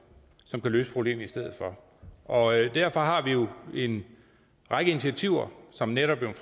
som kan løse problemet i stedet for og derfor har vi jo en række initiativer som netop er